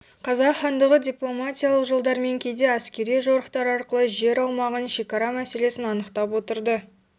қазақ хандығы дипломатиялық жолдармен кейде әскери жорықтар арқылы жер аумағын шекара мәселесін анықтап отырды